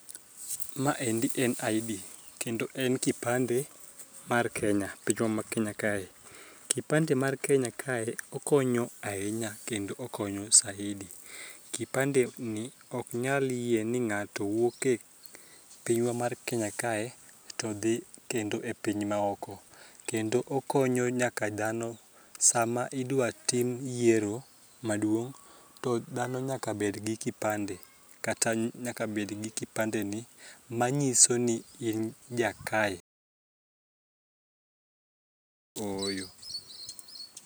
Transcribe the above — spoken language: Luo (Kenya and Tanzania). Ma endi en id[c] kendo en kipande mar kenya pinywa ma kenya kae ,kipande mar kenya kae okonyo ahinya kendo saidi kipande ni ok nyal yie ni ng'ato wuok e pinywa mar kenya kae to dhi kendo e piny maoko kendo okonyo nyaka dhano sama idwa tim yiero maduong, to dhano nyaka bedgi [ca]kipande kata nyaka ed gi kipande ni manyiso ni in jakae kata ooyo